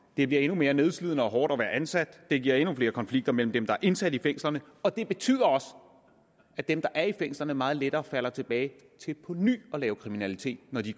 det bliver endnu mere nedslidende og hårdt at være ansat og det giver endnu flere konflikter mellem dem der er indsat i fængslerne og det betyder også at dem der er i fængslerne meget lettere falder tilbage til på ny at lave kriminalitet når de